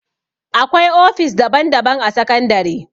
Akwai ofis daban daban a sakandare